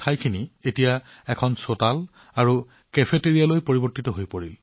এতিয়া এই জাংকয়াৰ্ড চোতাল আৰু কেফেটেৰিয়ালৈ ৰূপান্তৰিত কৰা হৈছে